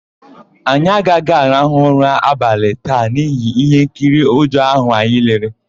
Anyị agaghị arahụ ụra abalị taa n'ihi íhénkiri ụjọ áhụ̀ anyị lere.